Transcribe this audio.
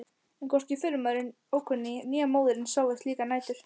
En hvorki förumaðurinn ókunni né móðirin sváfu slíkar nætur.